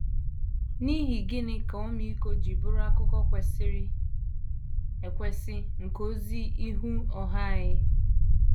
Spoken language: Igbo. N’ihi gịnị ka ọmịiko ji bụrụ akụkụ kwesịrị ekwesị nke ozi ihu ọha anyị?